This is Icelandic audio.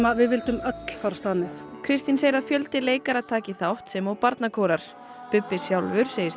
við vildum öll fara af stað með Kristín segir að fjöldi leikara taki þátt sem og barnakórar Bubbi sjálfur segist